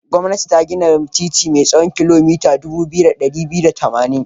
Gwamnati ta gina titi mai tsawon kilomita dubu ɗaya da ɗari biyu da tamanin.